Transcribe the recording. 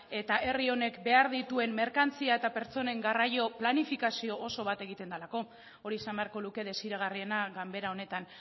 eta herri honek behar dituen merkantzia eta pertsonen garraio planifikazio oso bat egiten delako hori izan beharko luke desiragarriena ganbera honetan